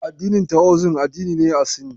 Addinin Taoism, addini ne a Sin.